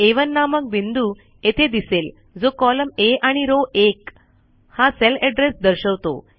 आ1 नामक बिंदू येथे दिसेल जो कॉलम आ आणि रॉव 1 हा सेल एड्रेस दर्शवतो